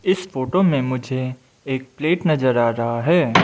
इस फोटो में मुझे एक प्लेट नजर आ रहा है।